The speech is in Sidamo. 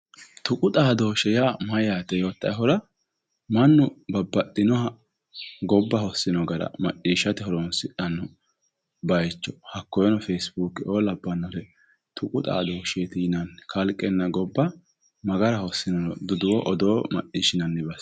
tuqu xaadooshshse yaa mayyaate yoottahura, mannu babbaxxinoha gobba hossino gara macciishshate horonsidhanno bayiicho hakkoyeeno feesibuukeo labbannore tuqu xaadooshsheeti yinanni, kalqenna gobba ma gara hossinoro duduwo odoo macciishshinanni base.